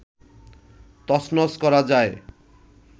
তছনছ করা যায়